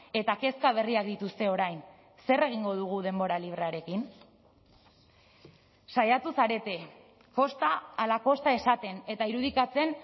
eta kezka berriak dituzte orain zer egingo dugu denbora librearekin saiatu zarete kosta ala kosta esaten eta irudikatzen